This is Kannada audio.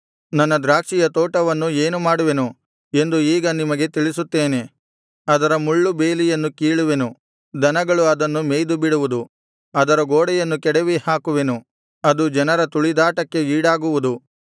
ನನ್ನ ದ್ರಾಕ್ಷಿಯ ತೋಟವನ್ನು ಏನು ಮಾಡುವೆನು ಎಂದು ಈಗ ನಿಮಗೆ ತಿಳಿಸುತ್ತೇನೆ ಅದರ ಮುಳ್ಳು ಬೇಲಿಯನ್ನು ಕೀಳುವೆನು ದನಗಳು ಅದನ್ನು ಮೇಯ್ದುಬಿಡುವುದು ಅದರ ಗೋಡೆಯನ್ನು ಕೆಡವಿ ಹಾಕುವೆನು ಅದು ಜನರ ತುಳಿದಾಟಕ್ಕೆ ಈಡಾಗುವುದು